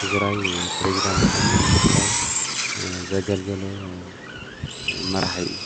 ትግራይ ፕሬዝዳንት ኮይኑ ንትግራይ ዘገልገለ መራሒ እዩ።